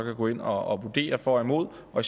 gå ind og vurdere for og imod og